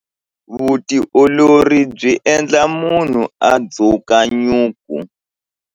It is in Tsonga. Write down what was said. Vutiolori byi endla munhu a dzuka nyuku.